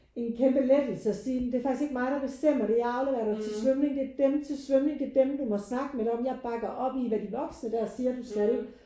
En kæmpe lettelse at sige men det er faktisk ikke mig der bestemmer der jeg afleverer til svømning. Det er dem til svømning det er dem du må snakke med det om. Jeg bakker op i hvad de voksne der siger du skal